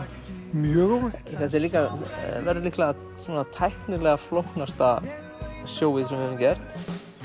mjög óvænt þetta líka verður líklega svona tæknilega flóknasta showið sem við höfum gert